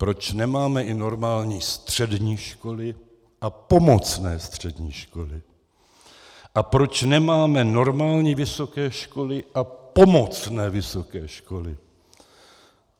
Proč nemáme i normální střední školy a pomocné střední školy a proč nemáme normální vysoké školy a pomocné vysoké školy?